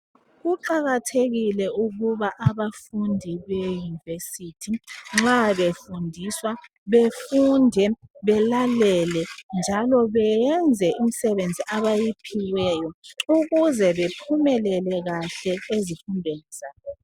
Kuqakathekiĺe ukuba abafundi beyunivesithi nxa befundiswa befunde ,balalele njalo bayenze imisebenzi abayiphiwayo ukuze bephumelele ezifundweni zabo.